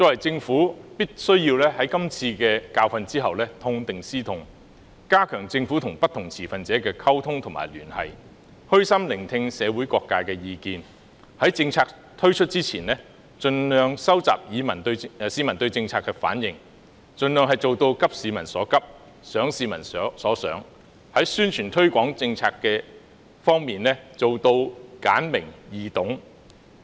政府必須在汲取今次教訓後痛定思痛，加強與不同持份者的溝通及聯繫，虛心聆聽社會各界的意見，在政策推出前，盡力收集市民對政策的反應，盡量做到急市民所急，想市民所想；而在宣傳推廣政策方面，要做到簡明、易懂。